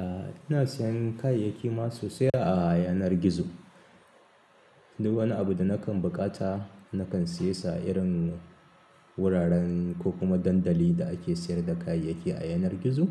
Ah, ina sayan kayayyaki ma sosai a yanar gizo. Duk wani abu da nakan bukata nakan siye sa a irin wuraren ko kuma dandali da ake sayar da kayayyaki a yanar gizo.